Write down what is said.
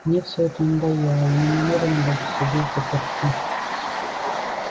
мне все это надоело я не намерена больше сидеть взаперти